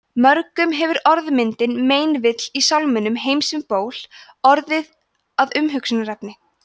mörgum hefur orðmyndin meinvill í sálminum „heims um ból“ orðið að umhugsunarefni